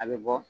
A bɛ bɔ